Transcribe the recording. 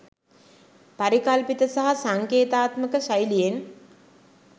පරිකල්පිත සහ සංකේතාත්මක ශෛලියෙන්